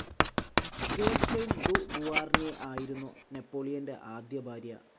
Josephine ദു ബുവാർണ്യെ ആയിരുന്നു നെപോളിയന്റെ ആദ്യഭാര്യ.